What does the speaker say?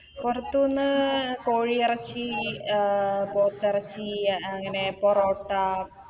പൊറത്തൂന്ന് കോഴി എറച്ചി അഹ് പോത്തെറച്ചി അങ്ങനെ പൊറോട്ട